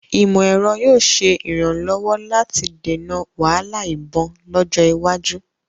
Ìmọ̀-ẹ̀rọ yóò ṣe ìrànlọ́wọ́ láti dènà wahala ìbọn lọ́jọ́ iwájú